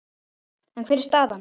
En hver er staðan?